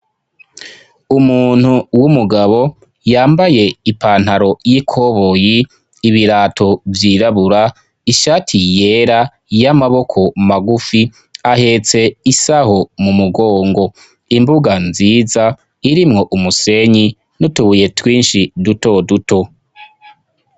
Umuntu w'umugabo yambaye ipantaro y'ikoboyi, ibirato vyirabura, ishati yera y'amaboko magufi, ahetse isaho mu mugongo. Imbuga nziza irimwo umusenyi n'utubuye twinshi duto duto.